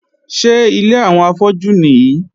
Ṣé ilé àwọn afọ́jú nìí?